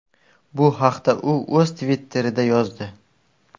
Bu haqda u o‘z Twitter’ida yozdi.